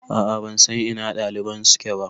A'a ban san ina ɗaliban suke ba